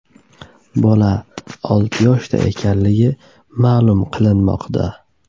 Bola olti yoshda ekanligi ma’lum qilinmoqda.